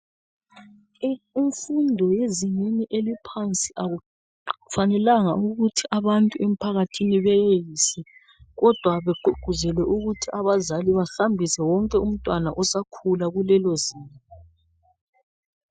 Imfundo yezingeni eliphansi akufanelanga ukuthi abantu emphakathini beyenze kodwa begqugquzelwe ukuthi abazali bahambise wonke umntwana osakhula kulelo zinga .